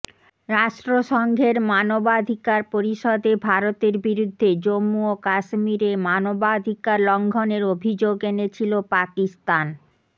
রাষ্ট্রসংঘের মানবাধিকার পরিষদে ভারতের বিরুদ্ধে জম্মু ও কাশ্মীরে মানবাধিকার লঙ্ঘনের অভিযোগ এনেছিল পাকিস্তান